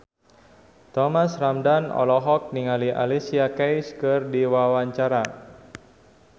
Thomas Ramdhan olohok ningali Alicia Keys keur diwawancara